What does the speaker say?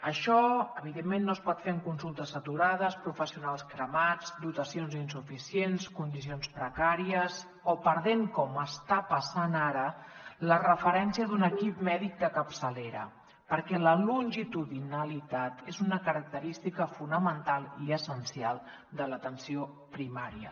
això evidentment no es pot fer amb consultes saturades professionals cremats dotacions insuficients condicions precàries o perdent com està passant ara la referència d’un equip mèdic de capçalera perquè la longitudinalitat és una característica fonamental i essencial de l’atenció primària